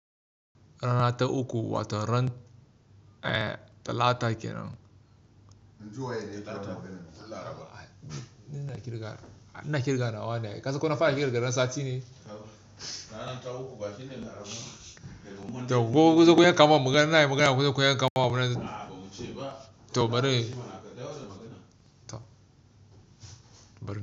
Ranar ta uku watan ran talata kenan. Inji waye ne ya yi karama gidan mu? Talata. Ina kirga, ina kirga nawa ne? Kasan ko na fara kirga ran sati ne? Kaba. Ranar ta uku bakin ne ya karamo. To ko zo ku yanka magana nayi magana ko zo ku yanka magana. A ba mu ce ba. To bari na yi. Ba na kaɗawo da magana.